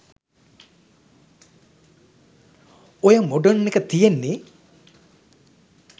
ඔය මොඩර්න් එක තියෙන්නේ